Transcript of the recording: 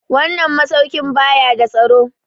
Wannan masaukin ba ya da tsaro.